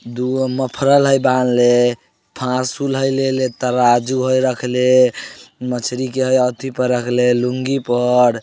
दुगो मफलर है बांध ले फासुऊल है लेले तराजू है रखले मछली के अथि पर रख ले लूंगी पर